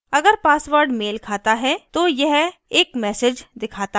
अगर password मेल खाता है तो यह एक message दिखाता है